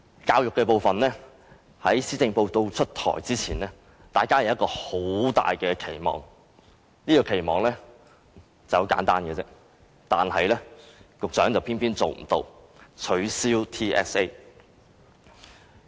教育的部分，在施政報告出台前，大家均有很大的期望，這個期望很簡單，但教育局局長偏偏無法做得到，便是取消 TSA。